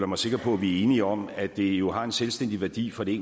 mig sikker på at vi er enige om at det jo har en selvstændig værdi for det